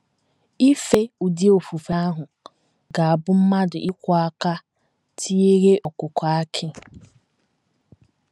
Ife ụdị ofufe ahụ ga - abụ mmadụ ịkwọ aka tiere ọkụkọ akị.